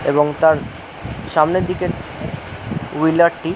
এবং তার সামনের দিকে টু হুইলার টি--